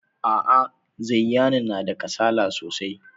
A'a, Zayyanu yana da kasala sosai.